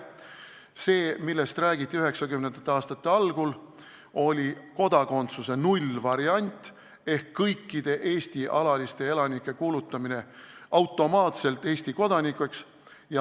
See, millest räägiti 90. aastate algul, oli kodakondsuse nullvariant ehk kõikide Eesti alaliste elanike kuulutamine automaatselt Eesti kodanikeks.